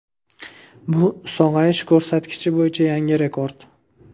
Bu sog‘ayish ko‘rsatkichi bo‘yicha yangi rekord.